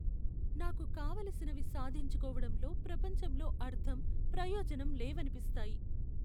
నాకు కావలసినవి సాధించుకోవడంలో ప్రపంచంలో అర్ధం, ప్రయోజనం లేవనిపిస్తాయి.